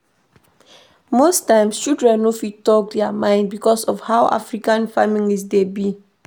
Most times children no dey fit talk their mind because of how African families dey be